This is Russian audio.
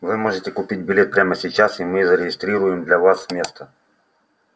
вы можете купить билет прямо сейчас и мы зарегистрируем для вас место